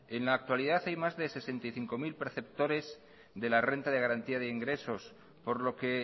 en la actualidad hay más de sesenta y cinco mil perceptores de la renta de garantía de ingresos por lo que